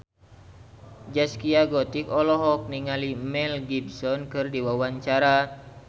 Zaskia Gotik olohok ningali Mel Gibson keur diwawancara